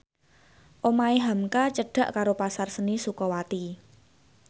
omahe hamka cedhak karo Pasar Seni Sukawati